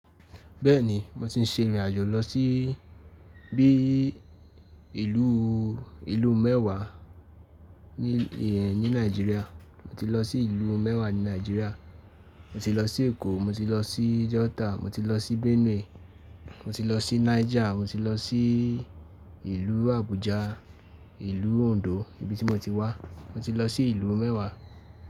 Bẹ́ẹ̀ni mo ti ń ṣe ìrìn àjò lọ sí bí ìlú, ìlú mẹ́wàá ní, ní Nàìjíríà. Mo ti lọ sí ìlú mẹ́wàá ní Nàìjíríà. Mo ti lọ sí Èkó, mo ti lọ sí delta, mo ti lọ sí Benue, mo ti lọ sí Niger, mo ti lọ sí ìlú Abuja, ìlú Ondo ibi tí mo ti wá. Mo ti lọ sí ìlú mẹ́wàá.